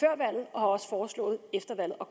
også foreslået efter valget og